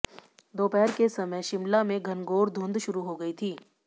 दोपहर के समय शिमला में घनघोर धुंध शुरू हो गई थी